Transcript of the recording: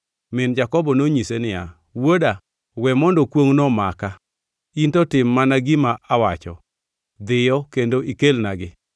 Min Jakobo nonyise niya, “Wuoda, we mondo kwongʼno omaka, in to tim mana gima awacho; dhiyo kendo ikelnagi.”